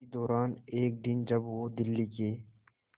इसी दौरान एक दिन जब वो दिल्ली के